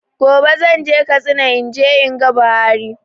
Gobe zan je Katsina in je in ga Buhari